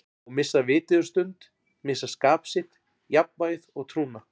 Og missa vitið um stund, missa skap sitt, jafnvægið og trúna.